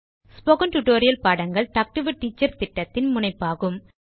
spoken tutorial பாடங்கள் talk to a teacher திட்டத்தின் முனைப்பாகும்